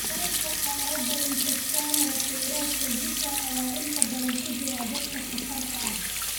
Dalka qaarada, infekshannada fayraska Zika ayaa inta badan ku jiray dadka safarka ah.